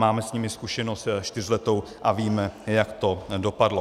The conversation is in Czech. Máme s nimi zkušenost čtyřletou a víme, jak to dopadlo.